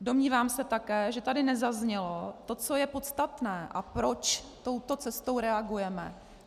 Domnívám se také, že tady nezaznělo to, co je podstatné a proč touto cestou reagujeme.